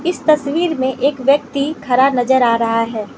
इस तस्वीर में एक व्यक्ति खड़ा नजर आ रहा है।